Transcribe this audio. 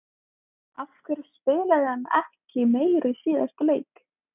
Af hverju spilaði hann ekki meira í síðasta leik?